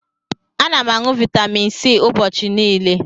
Ana m aṅụ Vaitamin C ụbọchị niile.